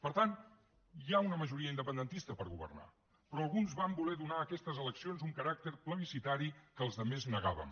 per tant hi ha una majoria independentista per governar però alguns van voler donar a aquestes eleccions un caràcter plebiscitari que els altres negàvem